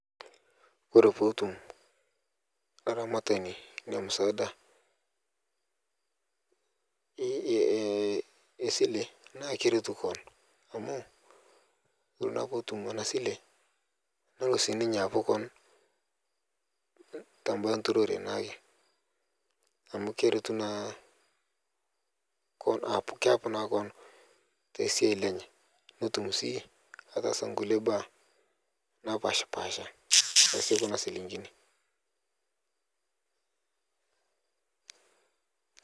Ore petum aramatani esile na keretu keon amu ore ake poetumbinabsile nelo aret keon tembaa enturore naake amu keretu naabkeon keapu naa keon tesiai enye netum na ataasa nkulie baa Napashapasha tekuna shillingini.